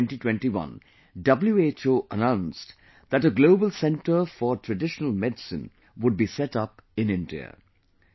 In March 2021, WHO announced that a Global Centre for Traditional Medicine would be set up in India